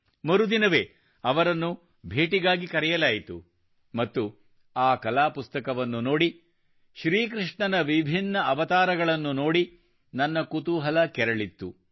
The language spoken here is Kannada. ಮರುದಿನವೇ ಅವರನ್ನು ಭೇಟಿಯಾಗಲು ಕರೆಯಲಾಯಿತು ಮತ್ತು ಆ ಕಲಾ ಪುಸ್ತಕವನ್ನು ನೋಡಿ ಶ್ರೀ ಕೃಷ್ಣನ ವಿಭಿನ್ನ ಅವತಾರಗಳನ್ನು ನೋಡಿ ನನ್ನ ಕುತೂಹಲ ಕೆರಳಿತ್ತು